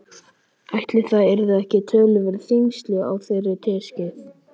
Ætli það yrðu ekki töluverð þyngsli á þeirri teskeið.